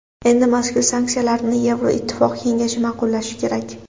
Endi mazkur sanksiyalarni Yevroittifoq kengashi ma’qullashi kerak.